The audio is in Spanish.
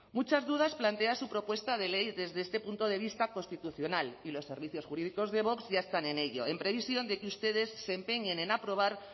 muchas dudas plantea su propuesta de ley desde este punto de vista constitucional y los servicios jurídicos de vox ya están en ello en previsión de que ustedes se empeñen en aprobar